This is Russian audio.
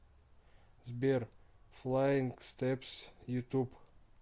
сбер флаинг стэпс ютуб